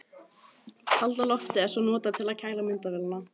Kalda loftið er svo notað til að kæla myndavélina.